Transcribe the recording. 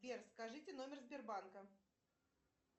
сбер скажите номер сбербанка